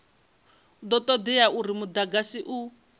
do todea uri mudagasi u